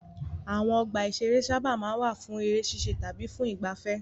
Àwọn ọgbà-ìṣeré sábà máa ń wà fún eré ṣíṣe tàbí fún ìgbaafẹ́.